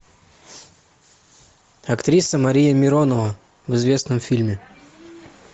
актриса мария миронова в известном фильме